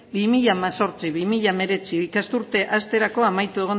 bi mila hemezortzi bi mila hemeretzi ikasturte hasterako amaitu